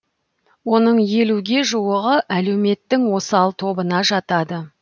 оның елуге жуығы әлеуметтің осал тобына жатады